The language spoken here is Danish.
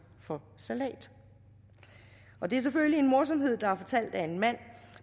for salat det er selvfølgelig en morsomhed der er fortalt af en mand